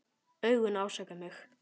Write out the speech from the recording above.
Augun ásaka mig.